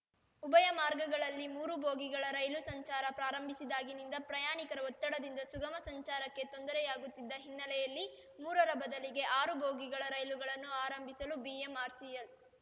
ಉಭಯ ಮಾರ್ಗಗಳಲ್ಲಿ ಮೂರು ಬೋಗಿಗಳ ರೈಲು ಸಂಚಾರ ಪ್ರಾರಂಭಿಸಿದಾಗಿನಿಂದ ಪ್ರಯಾಣಿಕರ ಒತ್ತಡದಿಂದ ಸುಗಮ ಸಂಚಾರಕ್ಕೆ ತೊಂದರೆಯಾಗುತ್ತಿದ್ದ ಹಿನ್ನೆಲೆಯಲ್ಲಿ ಮೂರರ ಬದಲಿಗೆ ಆರು ಬೋಗಿಗಳ ರೈಲುಗಳನ್ನು ಆರಂಭಿಸಲು ಬಿಎಂಆರ್‌ಸಿಎಲ್